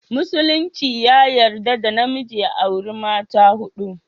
Musulinci ya yarda da namiji ya auri mata hudu